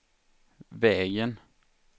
vägen